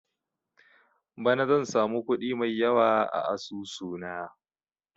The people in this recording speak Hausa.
Bana zan samu kuɗi mai yawa a asusu na